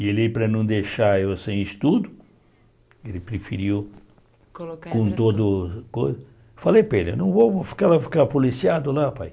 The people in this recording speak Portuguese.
E ele, para não deixar eu sem estudo, ele preferiu Colocar Com todo... Falei para ele, eu não vou ficar ficar policiado lá, pai.